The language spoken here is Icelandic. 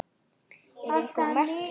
Eru einhver merki um það?